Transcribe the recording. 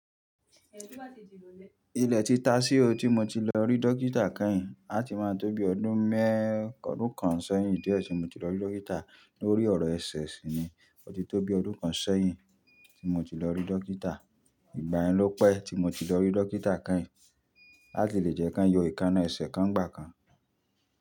Ilẹ̀ títa sí o tí mo ti lọ rí dókítà kẹ́yìn, á ti máa tó bí ọdún méẹ́ kan sẹ́yìn díẹ̀ tí mo ti lọ rí dókítà. Lórí ọ̀rọ̀ ẹsẹ̀ sì ni, ó ti tó bí ọdún kan sẹ́yìn tí mo ti lọ rí dókítà. Ìgbà yẹn ló pẹ́ tí mo ti lọ rí dókítà kẹ́yìn. Lati lè jẹ́ kán yọ ekáná ẹsẹ̀ kan gbà kan.